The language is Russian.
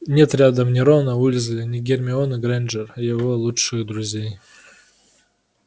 нет рядом ни рона уизли ни гермионы грэйнджер его лучших друзей